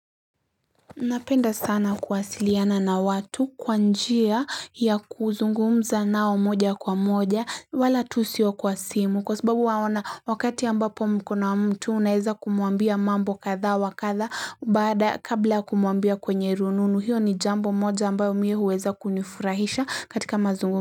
Napenda sana kuwasiliana na watu kwa njia ya kuzungumza nao moja kwa moja wala tu sio kwa simu kwa sababu waona wakati ambapo mko na mtu unaeza kumuambia mambo kadhaa wa kadhaa baada kabla kumuambia kwenye rununu hiyo ni jambo moja ambayo mie huweza kunifurahisha katika mazungumu.